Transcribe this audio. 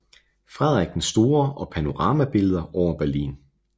Frederik den Store og panoramabilleder over Berlin